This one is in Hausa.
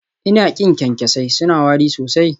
Ina ƙin kyankyasai, suna wari sosai